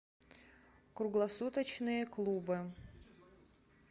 круглосуточные клубы